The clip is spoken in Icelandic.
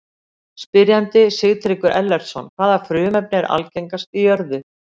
Spyrjandi: Sigtryggur Ellertsson Hvaða frumefni er algengast í jörðu?